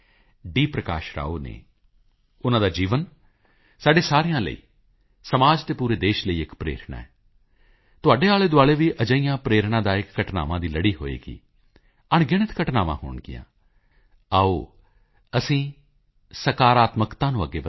ਪ੍ਰਕਾਸ਼ ਰਾਓ ਨੇ ਉਨ੍ਹਾਂ ਦਾ ਜੀਵਨ ਸਾਡੇ ਸਾਰਿਆਂ ਲਈ ਸਮਾਜ ਅਤੇ ਪੂਰੇ ਦੇਸ਼ ਲਈ ਇੱਕ ਪ੍ਰੇਰਣਾ ਹੈ ਤੁਹਾਡੇ ਆਲੇਦੁਆਲੇ ਵੀ ਅਜਿਹੀਆਂ ਪ੍ਰੇਰਣਾਦਾਇਕ ਘਟਨਾਵਾਂ ਦੀ ਲੜੀ ਹੋਵੇਗੀ ਅਣਗਿਣਤ ਘਟਨਾਵਾਂ ਹੋਣਗੀਆਂ ਆਓ ਅਸੀਂ ਸਕਾਰਾਤਮਕਤਾ ਨੂੰ ਅੱਗੇ ਵਧਾਈਏ